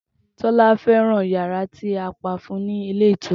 Tola feran yara ti a pa fun u ni ilé ìtura.